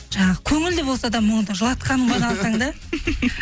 жаңағы көңілді болса да мұңды жылатқаның баны алсаң да